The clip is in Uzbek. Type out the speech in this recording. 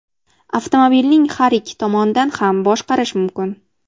Avtomobilning har ikki tomonidan ham boshqarish mumkin.